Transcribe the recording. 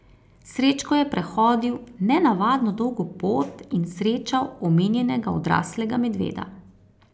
Srečko je prehodil nenavadno dolgo pot in srečal omenjenega odraslega medveda.